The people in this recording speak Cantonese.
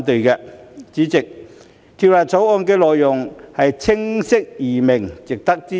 代理主席，《條例草案》的內容清晰易明，值得支持。